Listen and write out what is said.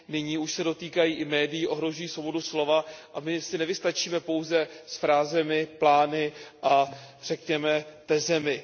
Nyní už se dotýkají i médií, ohrožují svobodu slova a my si nevystačíme pouze s frázemi, plány a řekněme tezemi.